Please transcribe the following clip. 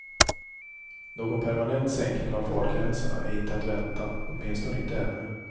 Någon permanent sänkning av fartgränserna är inte att vänta, åtminstone inte ännu.